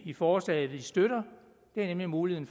i forslaget vi støtter nemlig muligheden